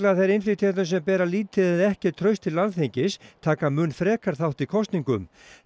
að þeir innflytjendur sem bera lítið eða ekkert traust til Alþingis taka mun frekar þátt í kosningum þá